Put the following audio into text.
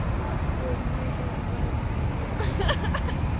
ой мне уже нравится отмена ха-ха